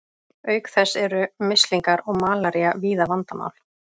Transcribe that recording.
Auk þess eru mislingar og malaría víða vandamál.